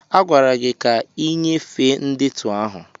A gwara gị ka ị nyefee ndetu ahụ!